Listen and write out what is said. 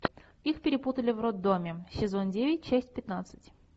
их перепутали в роддоме сезон девять часть пятнадцать